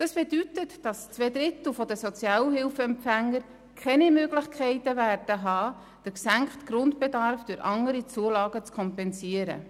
Das bedeutet, dass zwei Drittel der Sozialhilfeempfänger keine Möglichkeit haben werden, den gesenkten Grundbedarf durch andere Zulagen zu kompensieren.